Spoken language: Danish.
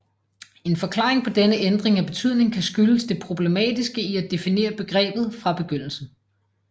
En forklaring på denne ændring af betydning kan skyldes det problematiske i at definere begrebet fra begyndelsen